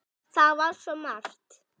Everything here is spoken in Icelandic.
Það var svo margt.